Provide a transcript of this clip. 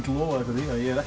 lofað ykkur því að ég